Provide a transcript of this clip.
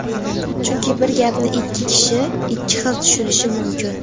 Chunki bir gapni ikki kishi ikki xil tushunishi mumkin.